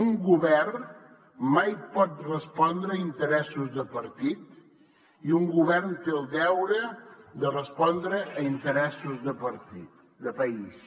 un govern mai pot respondre a interessos de partit i un govern té el deure de respondre a interessos de país